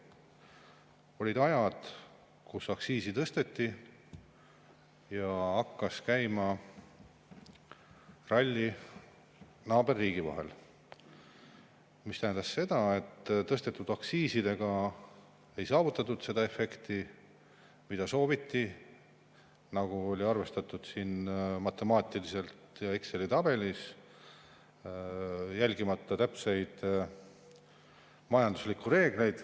Olid ajad, kui aktsiisi tõsteti ja hakkas käima ralli naaberriigi vahet, mis tähendas seda, et tõstetud aktsiisidega ei saavutatud seda efekti, mida sooviti, nagu oli arvestatud matemaatiliselt ja Exceli tabelis, järgimata täpseid majanduslikke reegleid.